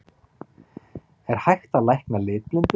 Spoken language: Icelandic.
Er hægt að lækna litblindu?